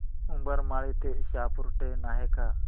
उंबरमाळी ते शहापूर ट्रेन आहे का